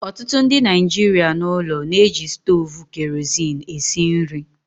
Ọtụtụ ndị Naijiria n'ụlọ na-eji stovu kerosene esi nri